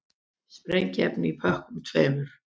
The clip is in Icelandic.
Sprengiefni í pökkunum tveimur